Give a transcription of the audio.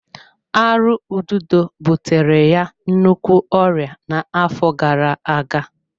Arụ ududo butere ya nnukwu ọrịa n'afọ gara-aga.